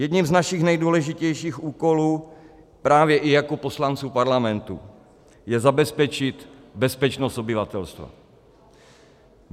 Jedním z našich nejdůležitějších úkolů právě i jako poslanců Parlamentu je zabezpečit bezpečnost obyvatelstva.